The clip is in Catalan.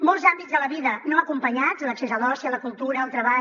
molts àmbits de la vida no acompanyats l’accés a l’oci a la cultura al treball